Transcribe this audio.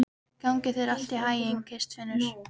Gangi þér allt í haginn, Kristfinnur.